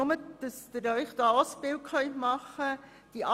Nur, damit Sie sich ein Bild machen können: